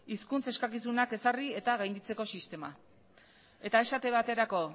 hizkuntza eskakizunak ezarri eta gainditzeko sistema eta esate baterako